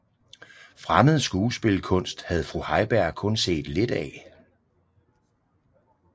Fremmed skuespilkunst havde fru Heiberg kun set lidt af